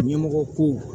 Ɲɛmɔgɔ kow